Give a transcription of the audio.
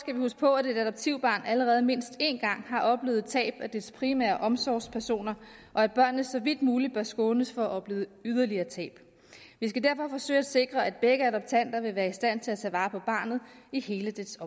vi huske på at et adoptivbarn allerede mindst én gang har oplevet et tab af dets primære omsorgspersoner og at børnene så vidt muligt bør skånes for at opleve yderligere tab vi skal derfor forsøge at sikre at begge adoptanter vil være i stand til at tage vare på barnet i hele dets